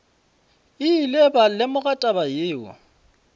ile ba lemoga taba yeo